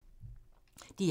DR2